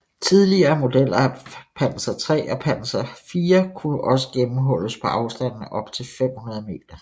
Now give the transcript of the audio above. Tidligere modeller af Panzer III og Panzer IV kunne også gennemhulles på afstande op til 500 m